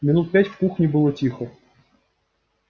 минут пять в кухне было тихо